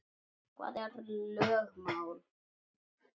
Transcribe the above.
Hvað eru lögmál?